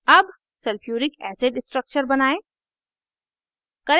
अब sulphuric acid structure बनायें